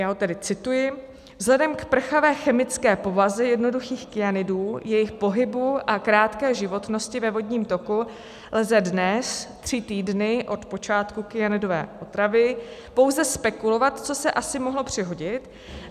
Já ho tedy cituji: "Vzhledem k prchavé chemické povaze jednoduchých kyanidů, jejich pohybu a krátké životnosti ve vodním toku lze dnes, tři týdny od počátku kyanidové otravy, pouze spekulovat, co se asi mohlo přihodit.